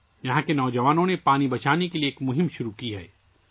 یہاں کے نوجوانوں نے پانی بچانے کی مہم شروع کی ہے